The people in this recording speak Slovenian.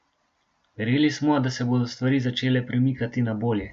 Verjeli smo, da se bodo stvari začele premikati na bolje.